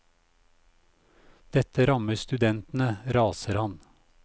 Dette rammer studentene, raser han.